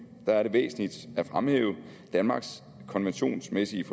væsentligt at fremhæve danmarks konventionsmæssige